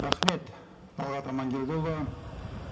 рахмет талғат аманкелдіұлы